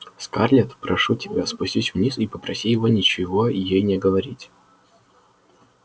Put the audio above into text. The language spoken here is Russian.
скарлетт прошу тебя спустись вниз и попроси его ничего ей не говорить